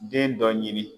Den dɔ ɲini